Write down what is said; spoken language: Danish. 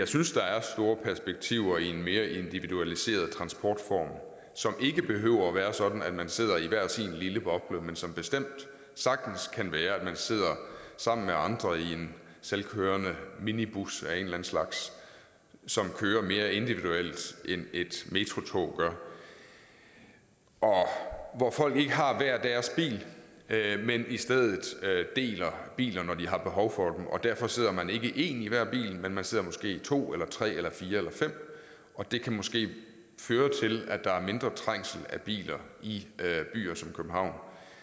synes der er store perspektiver i en mere individualiseret transportform som ikke behøver at være sådan at man sidder i hver sin lille boble men som bestemt sagtens kan være at man sidder sammen med andre i en selvkørende minibus af en eller anden slags som kører mere individuelt end et metrotog gør og hvor folk ikke har hver deres bil men i stedet deler biler når de har behov for og derfor sidder man ikke en i hver bil men man sidder måske to eller tre eller fire eller fem og det kan måske føre til at der er mindre trængsel af biler i byer som københavn